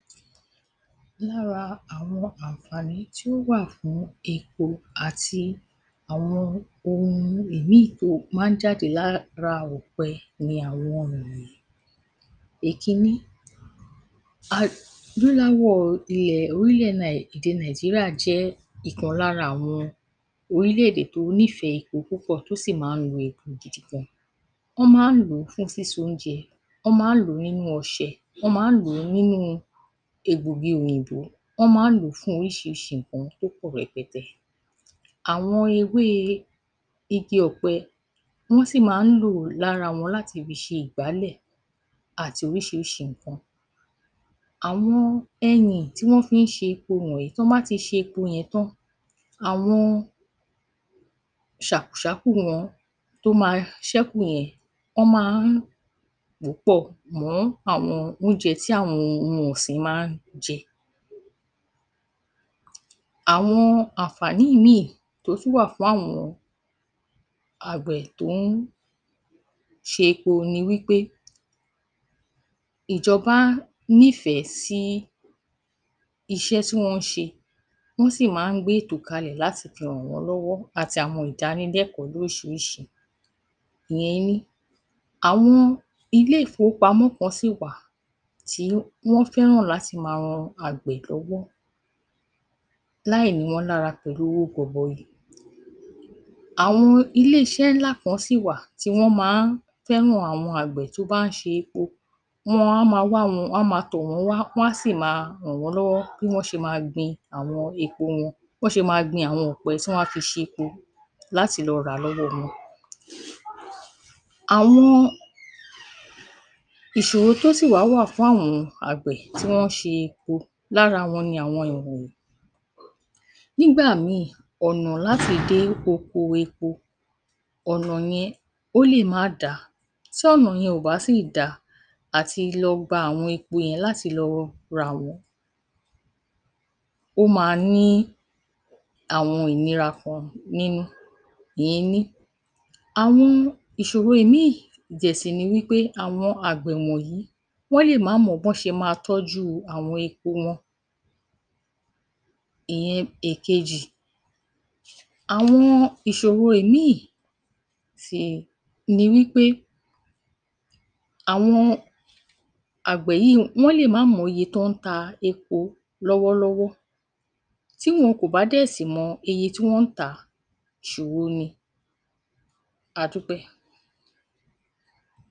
Lára àwọn àǹfààní tí ó wà fún èpo àti àwọn ohun ìmíì tó máa ń jáde lára ọ̀pẹ ni àwọn ìwọ̀nyìí. Èkíní, adúláwọ̀ ilẹ̀ ohílẹ̀ Nàì, èdè Nàìjíríà jẹ́ ìkan lára àwọn ohílẹ̀-èdè tó nífẹ̀ẹ́ èpo púpọ̀, tó sì máa ń lo epo gidi gan. Wọ́n máa ń lò ó fún sísoúnjẹ. Wọ́n máa ń lò ó nínú ọṣẹ, wọ́n máa ń lò ó nínú egbògi òyìnbó. Wọ́n máa ń lò ó fún ohíṣihíṣi nǹkan tó pọ̀ hẹpẹtẹ. Àwọn ewé igi ọ̀pẹ, wọ́n sì máa ń lò lára wọn láti ṣe ìgbálẹ̀ àti ohísihísi nǹkan. Àwọn ẹyìn tí wọ́n fi ń ṣe èpo wọ̀nyìí, tán bá ti ṣe epo yẹn tán, àwọn ṣàkùṣákù wọn tó máa ṣẹ́kù yẹn, wọ́n máa ń pò ó pọ̀ mọ́ àwọn oúnjẹ tí àwọn ohun ọ̀sìn máa ń jẹ. Àwọn àǹfààní míì tó tún wà fáwọn àgbẹ̀ tó ń ṣepo ni wí pé ìjọba nífẹ̀ẹ́ sí iṣẹ́ tí wọ́n ń ṣe, wọ́n sì máa ń gbé ètò kalẹ̀ láti fi hàn wọ́n lọ́wọ́ àti àwọn ìdanilẹ́kọ̀ọ́ lóhísihíṣi, ìyẹn ení. Àwọn ilé-ìfowópamọ́ kan sì wà tí wọ́n fẹ́hàn láti máa han àgbẹ̀ lọ́wọ́ láìni wọ́n lára pẹ̀lú owó gọbọi. Àwọn ilé-iṣẹ́ ńlá kan sì wà tí wọ́n máa ń fẹ́hàn àwọn àgbẹ̀ tó bá ń ṣe, wọ́n á máa wá wọn, wọ́n á máa tọ̀ wọ́n wá, wọ́n á sì máa hàn wọ́n lọ́wọ́ bí wọ́n ṣe máa gbin àwọn epo wọn, bán ṣe máa gbin àwọn ọ̀pẹ tí wọ́n á fi ṣepo lati lọ rà á lọ́wọ́ wọn. Àwọn ìṣòro tó sì wá wà fún àwọn àgbẹ̀ tí wọ́n ń ṣe epo, Lára wọn ni àwọn ìwọ̀nyìí. Nígbà míì, ọ̀nà láti dé oko epo, ọ̀nà yẹn, ó lè má da. Tí ọ̀nà yẹn ò bá sì da àtilọ gba àwọn epo yẹn láti lọ rà wọ́n, ó máa ní àwọn ìnira kan nínú, ìyẹn ení. Àwọn ìṣòro ìmíì dẹ̀ sì ni wí pé àwọn àgbẹ̀ wọ̀yìí, wọ́n lè má mọ bán ṣe máa tọ́jú àwọn epo wọn, ìyẹn èkejì. Àwọn ìṣòho ìmíì ti, ni wí pé àwọn àgbẹ̀ yìí, wọ́n lè má mọye tán ń ta epo lọ́wọ́lọ́wọ́. Tí wọn kò bá dẹ̀ sì mọ iye tí wọ́n ń tà á, ìṣòho ni. A dúpẹ́.